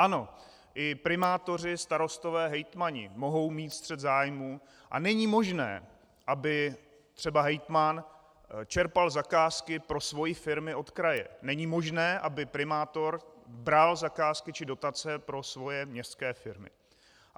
Ano, i primátoři, starostové, hejtmani mohou mít střet zájmů a není možné, aby třeba hejtman čerpal zakázky pro své firmy od kraje, není možné, aby primátor bral zakázky či dotace pro svoje městské firmy.